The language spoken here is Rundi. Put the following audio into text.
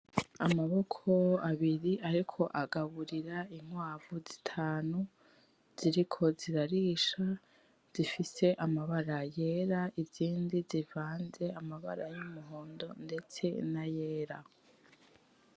Amaboko abiri ariko agaburira inkwavu zitanu ziriko zirarisha zifise amabara yera, izindi zivanze amabara yumuhonda ndetse n'ayera.